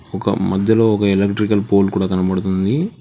ఒక మధ్యలో ఒక ఎలక్ట్రికల్ పోల్ కూడా కనబడుతుంది.